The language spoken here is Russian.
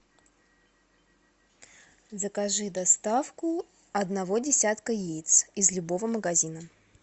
закажи доставку одного десятка яиц из любого магазина